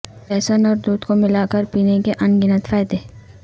لہسن اور دودھ کو ملا کر پینے کےان گنت فائدے